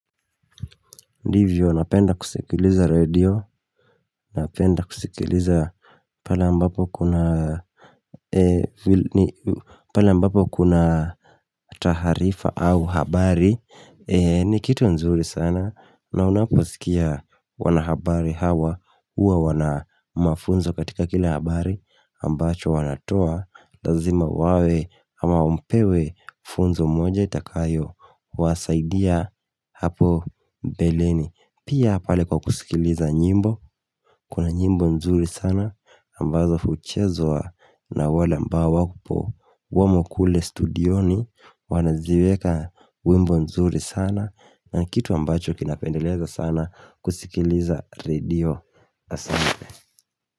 Ndivyo napenda kusikiliza redio, napenda kusikiliza pala ambapo kuna taharifa au habari ni kitu nzuri sana na unaposikia wanahabari hawa uwa wana mafunzo katika kila habari ambacho wanatoa, lazima wawe ama mpewe funzo moja itakayo wasaidia hapo mbeleni Pia pale kwa kusikiliza nyimbo Kuna nyimbo nzuri sana ambazo uchezwa na wale ambao wapo Wamo kule studioni Wanaziweka wimbo nzuri sana na kitu ambacho kinapendeleza sana kusikiliza radio Asante.